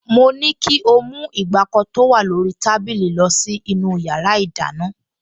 Mo ní kí ó mú ìgbàkọ tó wà lórí tábìlì lọ sínú yàrá ìdáná